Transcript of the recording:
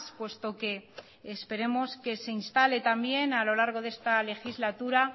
puesto que esperemos que se instale también a lo largo de esta legislatura